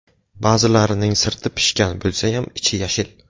Ba’zilarining sirti pishgan bo‘lsayam, ichi yashil.